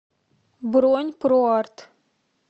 бронь проарт